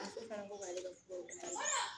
A muso fana ko k'ale ka furaw